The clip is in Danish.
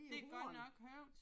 Det er godt nok højt